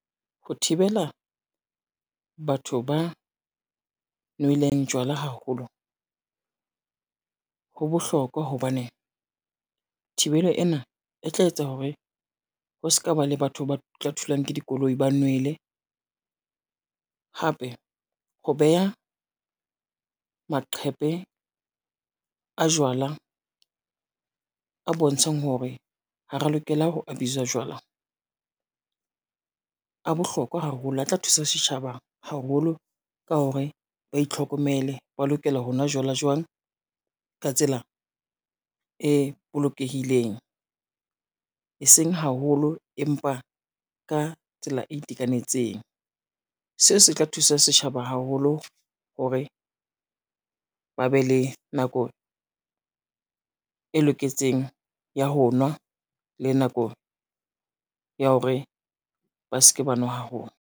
Ho thibela batho ba nweleng jwala haholo, ho bohlokwa hobane thibelo ena e tla etsa hore ho ska ba le batho ba tla thulang ke dikoloi, ba nwele. Hape ho beha maqhepe a jwala a bontshang hore ha re lokela ho abuse-a jwala, a bohlokwa haholo a tla thusa setjhaba haholo ka hore ba itlhokomele, ba lokela ho nwa jwala jwang ka tsela e bolokehileng, eseng haholo empa ka tsela e itekanetseng. Seo se tla thusa setjhaba haholo hore ba be le nako, e loketseng ya ho nwa le nako ya hore ba se ke ba nwa haholo.